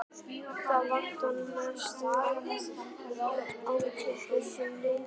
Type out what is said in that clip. Það vantar mest upp á hjá þessum liðum.